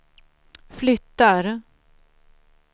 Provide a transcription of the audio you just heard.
flyttar